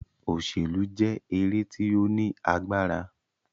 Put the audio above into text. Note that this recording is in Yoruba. òṣèlú jẹ́ eré tí ó ní agbára.